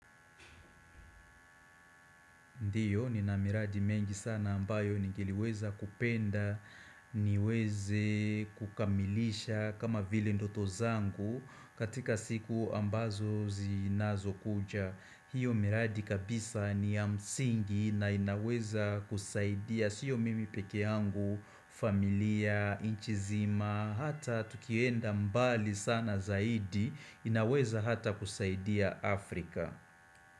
Ndio nina miradi mengi sana ambayo ningeliweza kupenda niweze kukamilisha kama vile ndoto zangu katika siku ambazo zinazokuja. Hiyo miradi kabisa ni ya msingi na inaweza kusaidia siyo mimi peke yangu, familia, inchi zima, hata tukienda mbali sana zaidi inaweza hata kusaidia Afrika.